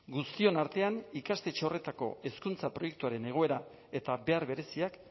guztion artean ikastetxe horretako hezkuntza proiektuaren egoera eta behar bereziak